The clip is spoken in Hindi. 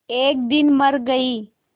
एक दिन मर गई